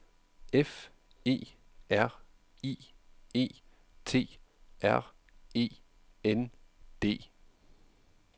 F E R I E T R E N D